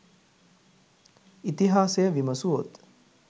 ඉතිහාසය විමසුවොත්